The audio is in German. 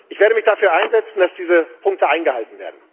Ich werde mich dafür einsetzen, dass diese Punkte eingehalten werden.